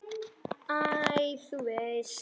Æ, þú veist.